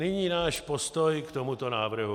Nyní náš postoj k tomuto návrhu.